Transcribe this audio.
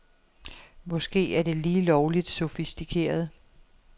Måske er det lige lovligt sofistikeret.